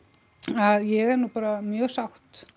að ég er nú bara mjög sátt